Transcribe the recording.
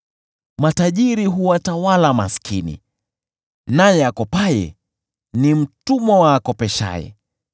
Matajiri huwatawala maskini naye akopaye ni mtumwa wa akopeshaye.